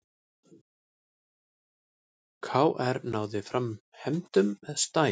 KR náði fram hefndum með stæl